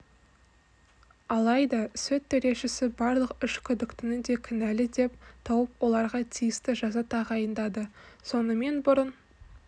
алайда сот төрешісі барлық үш күдіктіні де кінәлі деп тауып оларға тиісті жаза тағайындады сонымен бұрын